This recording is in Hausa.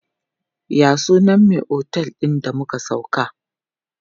Ya sunan me otel din da muka sauka?